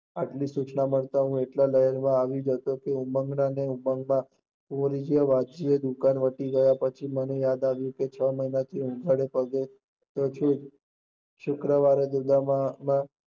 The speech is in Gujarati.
આમ સૂચના મળતા એટલો ઉમઁગ માં આવી ગયો કે ઉમંગ ઉમંગ ના ઉદ્દમામાં ની દુકાન વત્તા પછી મ્બે યાદ આવીયયું કે છ મહિના થી ઉઘાડો ફરતો શુક્રવારે ઉદામમાં